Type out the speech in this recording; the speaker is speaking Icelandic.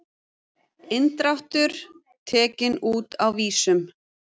Inndráttur tekinn út á vísum